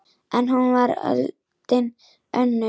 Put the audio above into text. En nú var öldin önnur.